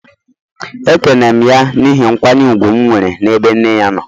Ekene m ya n'ihi nkwanye ùgwù m nwere n'ebe nne ya nọ